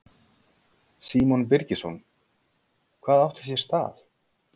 Símon Birgisson: Hvað átti sér stað?